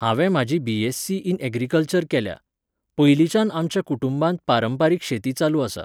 हांवें म्हाजी B S C in agriculture केल्या. पयलींच्यान आमच्या कुटूंबांत पारंपारीक शेती चालू आसा